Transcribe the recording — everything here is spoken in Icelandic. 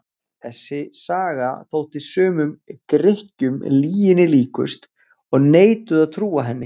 Þessi saga þótti sumum Grikkjum lyginni líkust og neituðu að trúa henni.